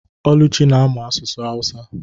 Oluchi na-amụ asụsụ awusa.